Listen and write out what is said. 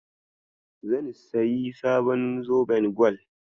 Zan sayi sabon zoben gwal.